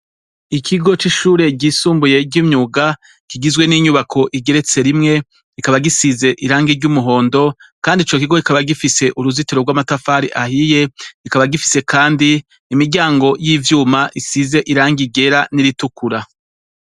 Ikigo c'ishure ryisumbuye ry'imyuga kigizwe n'inyubako igeretse rimwe rikaba risize irangi ry'umuhondo kandi co kigo kikaba gifise uruzitiro rw'amatafari ahiye, kikaba gifise kandi miryango yivyuma isize irangi ryera n'iritukura.